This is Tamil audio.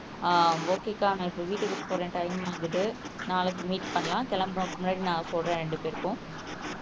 அஹ் ஓகே அக்கா நான் இப்போ வீட்டுக்கு போறேன் டைம் ஆகுது நாளைக்கு மீட் பண்ணலாம் கிளம்பறதுக்கு முன்னாடி நான் சொல்றேன் ரெண்டுபேர்க்கும்.